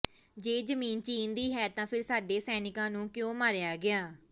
ਜੇ ਜ਼ਮੀਨ ਚੀਨ ਦੀ ਹੈ ਤਾਂ ਫਿਰ ਸਾਡੇ ਸੈਨਿਕਾਂ ਨੂੰ ਕਿਉਂ ਮਾਰਿਆ ਗਿਆ